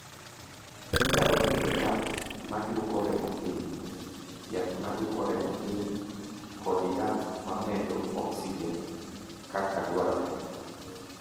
"Inyalo miye yath ma dwoko remo piny, yath ma dwoko remo piny, kod yath ma medo oksijen kaka dwarore."